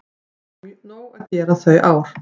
Það var nóg að gera þau ár.